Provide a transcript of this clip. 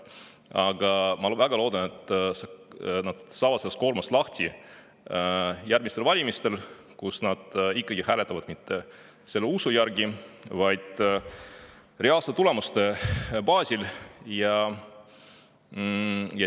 Aga ma väga loodan, et nad saavad sellest koormast lahti järgmistel valimistel, kui nad hääletavad mitte usu järgi, vaid reaalsete tulemuste baasil.